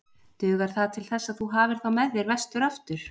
Dugar það til þess að þú hafir þá með þér vestur aftur?